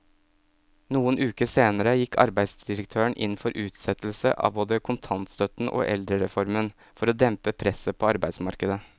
Noen uker senere gikk arbeidsdirektøren inn for utsettelse av både kontantstøtten og eldrereformen for å dempe presset på arbeidsmarkedet.